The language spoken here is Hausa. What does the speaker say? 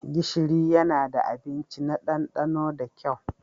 Gishiri yana da abinci na ɗandano da kyau.